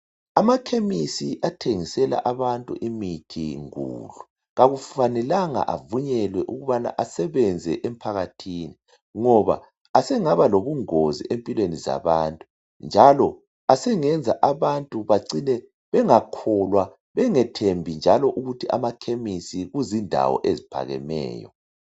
Amakhemisi athengisela abantu imithi ngudlu akufanelanga avunyelwe ukubana asebenze emphakathini, ngoba asengaba lobungozi empilweni zabantu njalo asengenza abantu bacine bengakholwa, bengethembi njalo ukuthi amakhemisi kuzindawo eziphakemeyo.